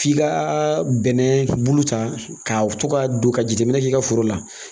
F'i ka bɛnɛ bulu ta k'a to ka don ka jateminɛ k'i ka foro la